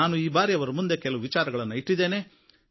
ನಾನು ಈ ಬಾರಿ ಅವರ ಮುಂದೆ ಕೆಲವು ವಿಚಾರಗಳನ್ನು ಇಟ್ಟಿದ್ದೇನೆ